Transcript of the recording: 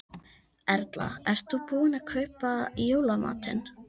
Erla: Ert þú búin að kaupa í jólamatinn?